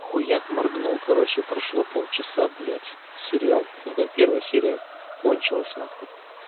хуяк моргнул короче прошло полчаса блядь сериал ну как первая серия кончилась нахуй